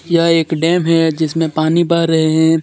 यह एक डेम है जिसमें पानी बह रहे है.